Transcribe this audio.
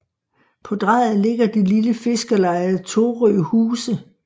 På drejet ligger det lille fiskerleje Torøhuse